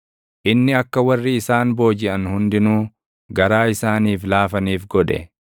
Inni akka warri isaan boojiʼan hundinuu garaa isaaniif laafaniif godhe.